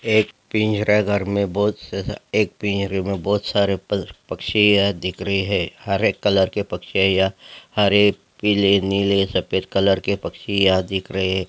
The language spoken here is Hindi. एक पिंजरा घर में बहुत से एक पिंजरे में बहुत सारे पक्षी है दिख रहे है हरे कलर के पक्षी है हरे पीले नीले सफेद कलर के पक्षी यहां दिख रहे है।